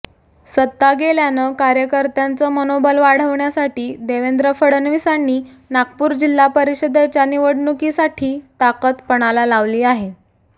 सत्ता गेल्यानं कार्यकर्त्यांचं मनोबल वाढवण्यासाठी देवेंद्र फडणवीसांनी नागपूर जिल्हा परिषदेच्या निवडणुकीसाठी ताकद पणाला लावली आहे